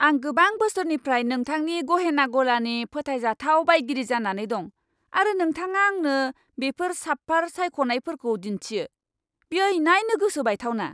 आं गोबां बोसोरनिफ्राय नोंथांनि गहेना गलानि फोथायजाथाव बायगिरि जानानै दं, आरो नोंथाङा आंनो बेफोर साबपार सायख'नायफोरखौ दिन्थियो? बेयो इनायनो गोसो बायथावना!